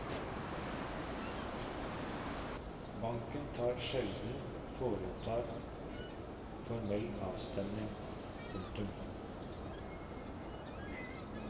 Banken tar sjelden foretar formell avstemning. punktum